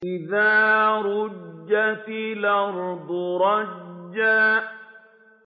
إِذَا رُجَّتِ الْأَرْضُ رَجًّا